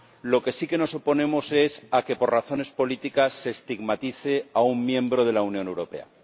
A lo que sí nos oponemos es a que, por razones políticas, se estigmatice a un miembro de la Unión Europea.